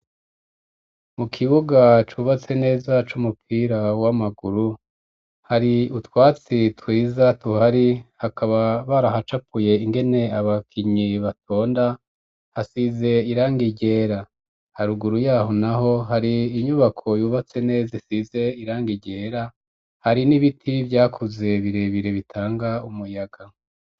Mu kibuga cubatse neza c'umupira w'amaguru hari utwatsi twiza tuhari hakaba barahacapuye ingene abakinyi batonda hasize irangi ryera haruguru yaho naho hari inyubako yubatse neza isize irangi ryera hari n'ibiti vyakuze birebire bitanga umuyaga.